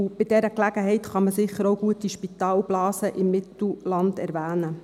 Bei dieser Gelegenheit kann man sicher auch gut die Spitalblase im Mittelland erwähnen.